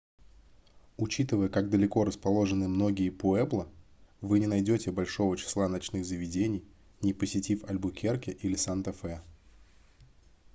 учитывая как далеко расположены многие пуэбло вы не найдете большого числа ночных заведений не посетив альбукерке или санта-фе